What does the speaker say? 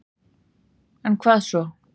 En hvað svo